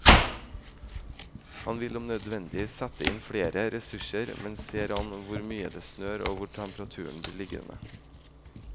Han vil om nødvendig sette inn flere ressurser, men ser an hvor mye det snør og hvor temperaturen blir liggende.